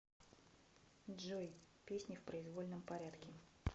джой песни в произвольном порядке